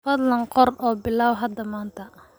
Fadlan qor oo bilow hada maanta.